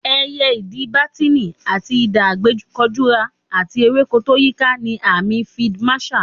Ẹyẹ Idì, bátíìnì àti idà àgbékọjura, àti ewéko tó yíiká ni àmì Field Marshal.